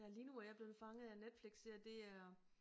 Ja lige nu er jeg blevet fanget af en Netflix serie det er